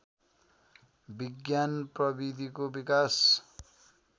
विज्ञान प्रविधिको विकास